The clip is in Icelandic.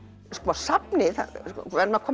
safnið við verðum að koma